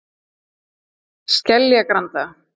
Skeljagranda